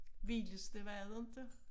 Vildeste var det inte?